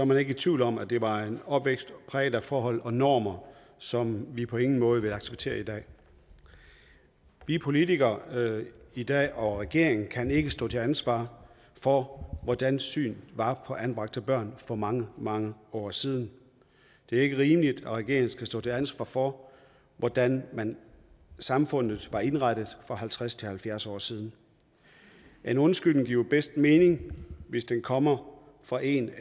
man ikke i tvivl om at det var en opvækst præget af forhold og normer som vi på ingen måde vil acceptere i dag vi politikere i dag og regeringen kan ikke stå til ansvar for hvordan synet var på anbragte børn for mange mange år siden det er ikke rimeligt at regeringen skal stå til ansvar for hvordan samfundet var indrettet for halvtreds til halvfjerds år siden en undskyldning giver bedst mening hvis den kommer fra en